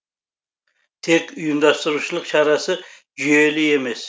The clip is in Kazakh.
тек ұйымдастырушылық шарасы жүйелі емес